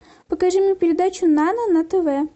покажи мне передачу нано на тв